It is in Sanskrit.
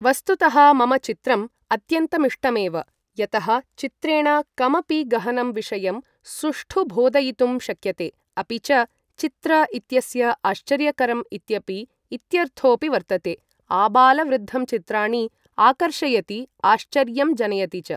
वस्तुतः मम चित्रम् अत्यन्तमिष्टमेव यतः चित्रेण कमपि गहनं विषयं सुष्ठु बोधयितुं शक्यते अपि च चित्र इत्यस्य आश्चर्यकरम् इत्यपि इत्यर्थोपि वर्तते आबालवृद्धं चित्राणि आकर्षयति आश्चर्यं जनयति च ।